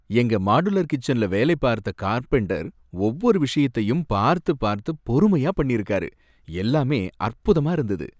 எங்க மாடுலர் கிச்சன்ல வேலைபார்த்த கார்பெண்டர் ஒவ்வொரு விஷயத்தையும் பார்த்து பார்த்து பொறுமையா பண்ணிருக்காரு, எல்லாமே அற்புதமா இருந்தது